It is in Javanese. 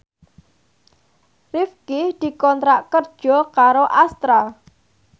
Rifqi dikontrak kerja karo Astra